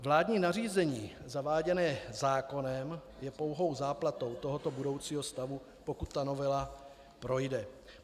Vládní nařízení zaváděné zákonem je pouhou záplatou tohoto budoucího stavu, pokud ta novela projde.